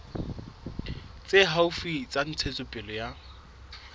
tse haufi tsa ntshetsopele ya